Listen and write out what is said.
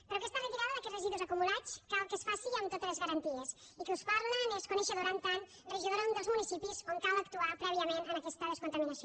però aquesta retirada d’aquests residus acumulats cal que es faci amb totes les garanties i qui us parla n’és coneixedora en tant que regidora d’un dels municipis on cal actuar prèviament en aquesta descontaminació